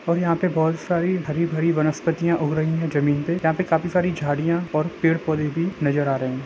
और यहाँ पे बोहत सारी हरी- भरी वनस्पतियां उग रही है जमीन पे और यहाँ पे काफी सारी झाड़ियां और पेड़ पौधे भी ऩजर आ रहे है।